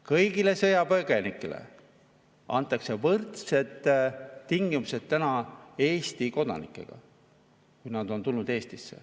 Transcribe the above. Kõigile sõjapõgenikele, kui nad on tulnud Eestisse, antakse võrdsed tingimused Eesti kodanikega.